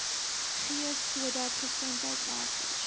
gee sodat gesondheidwerkers